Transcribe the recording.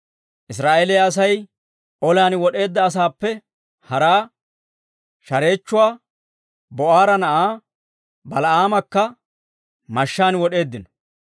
Israa'eeliyaa Asay olan wod'eedda asaappe haraa, shareechchuwaa, Ba'oora na'aa Bala'aamakka mashshaan wod'eeddino.